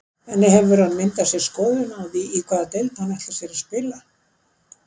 En hefur hann myndað sér skoðun í hvaða deild hann ætlar sér að spila?